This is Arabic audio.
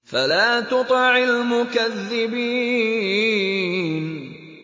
فَلَا تُطِعِ الْمُكَذِّبِينَ